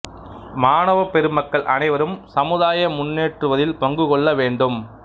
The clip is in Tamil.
மாணவ பெருமக்கள் அனைவரும் சமுதாய முன்னேற்றுவதில் பங்கு கொள்ள வேண்டும்